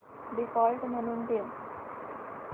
default म्हणून ठेव